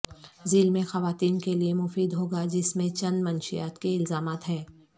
ذیل میں خواتین کے لیے مفید ہو گا جس میں چند منشیات کے الزامات ہیں